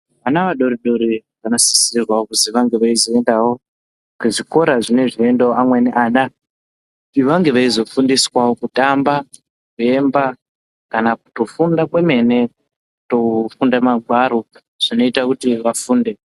Vama vadoridori vanosisirwa kuti vange veizoenda kuzvikora zvinoendawo amweni ana kuti vange veizofundiswawo kutamba, kuemba kana kutofunda kwemene kutofunda magwaro zvinoita kuti vafunde.